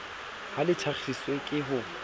ha le thakgiswe ke ho